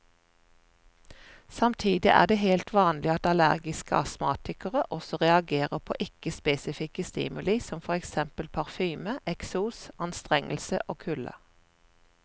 Samtidig er det helt vanlig at allergiske astmatikere også reagerer på ikke spesifikke stimuli som for eksempel parfyme, eksos, anstrengelse eller kulde.